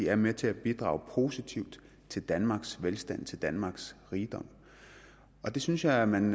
er med til at bidrage positivt til danmarks velstand til danmarks rigdom det synes jeg man